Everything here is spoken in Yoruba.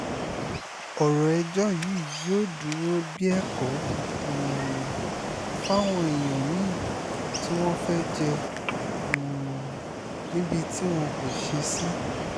ọ̀rọ̀ ẹjọ́ yìí yóò dúró bíi ẹ̀kọ́ um fáwọn èèyàn mí-ín tí wọ́n fẹ́ẹ́ jẹ́ um níbi tí wọn kò ṣe sí